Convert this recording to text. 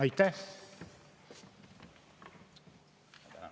Aitäh!